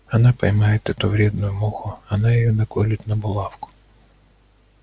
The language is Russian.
она поймает эту вредную муху она её наколет на булавку